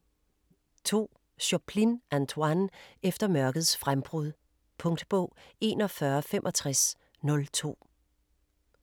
2. Choplin, Antoine: Efter mørkets frembrud Punktbog 416502